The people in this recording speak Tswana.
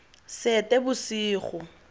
seetebosego